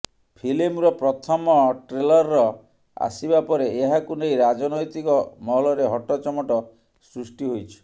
ଫିଲ୍ମର ପ୍ରଥମ ଟ୍ରେଲ୍ର ଆସିବା ପରେ ଏହାକୁ ନେଇ ରାଜେନୖତିକ ମହଲରେ ହଟଚମଟ ସୃଷ୍ଟି ହୋଇଛି